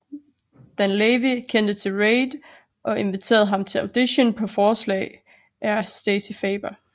Dan Lavy kendte til Reid og inviterede ham til audition på forslag af Stacey Farber